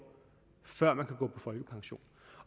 før man kan gå på folkepension